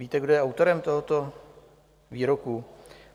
Víte, kdo je autorem tohoto výroku?